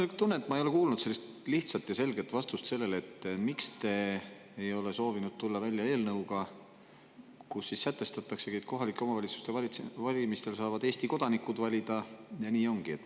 Mul on tunne, et ma ei ole kuulnud lihtsat ja selget vastust sellele, miks te ei ole soovinud tulla välja eelnõuga, kus sätestataksegi, et kohalike omavalitsuste valimistel saavad Eesti kodanikud valida, ja nii ongi.